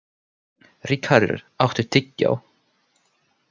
Ríkharður, áttu tyggjó?